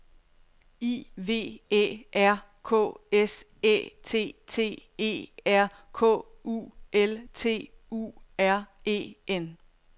I V Æ R K S Æ T T E R K U L T U R E N